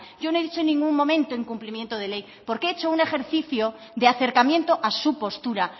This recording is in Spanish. yo no he dicho en ningún momento incumplimiento de ley porque he hecho un ejercicio de acercamiento a su postura